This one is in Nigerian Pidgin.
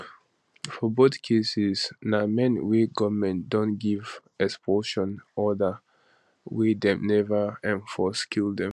for both cases na men wey goment don give expulsion order wey dem never enforce kill dem